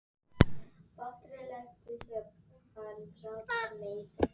sagði Sveinn og gerði sér upp hlátur.